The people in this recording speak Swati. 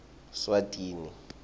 swatini